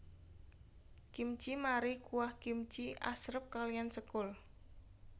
Kimchi mari kuah kimchi asrep kaliyan sekul